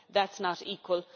That is not equal.